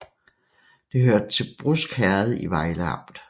Det hørte til Brusk Herred i Vejle Amt